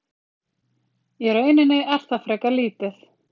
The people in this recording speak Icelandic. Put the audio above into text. í rauninni er það frekar lítið